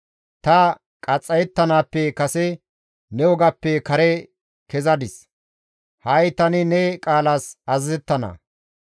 Ta qaxxayettanaappe kase ne wogappe kare kezadis; ha7i tani ne qaalas azazettana.